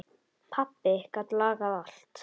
Pabbi gat lagað allt.